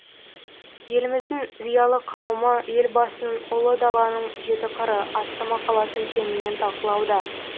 еліміздің зиялы қауымы елбасының ұлы даланың жеті қыры атты мақаласын кеңінен талқылауда